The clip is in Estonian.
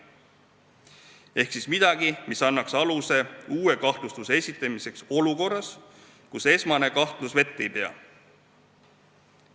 Äkki leitakse midagi, mis annaks aluse uue kahtlustuse esitamiseks olukorras, kus esmane kahtlus vett ei pea.